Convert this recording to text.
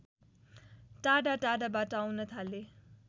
टाढा टाढाबाट आउन थाले